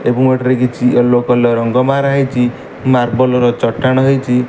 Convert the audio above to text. Argument ରେ କିଛି yellow colour ର ରଙ୍ଗ ମାରାହେଇଚି। ମାର୍ବଲ ର ଚଟାଣ ହେଇଛି।